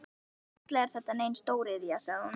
Varla er þetta nein stóriðja? sagði hún.